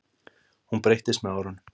Hún breyttist með árunum.